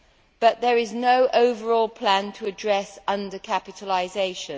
But there is no overall plan to address under capitalisation.